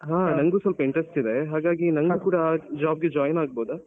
ಹಾ ನಂಗು ಸ್ವಲ್ಪ interestಇದೆ ಹಾಗಾಗಿ ನಂಗೂ ಕೂಡ job ಗೆ join ಆಗ್ಬೋದ.